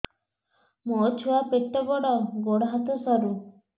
ମୋ ଛୁଆ ପେଟ ବଡ଼ ଗୋଡ଼ ହାତ ସରୁ